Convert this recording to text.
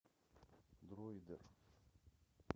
дроидер